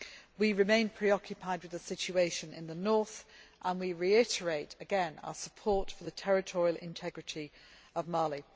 We remain very preoccupied with the situation in the North, and we reiterate our support for the territorial integrity of Mali.